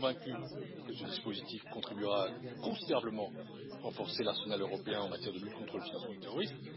Je suis convaincu que ce dispositif contribuera considérablement à renforcer l'arsenal européen en matière de lutte contre le financement du terrorisme.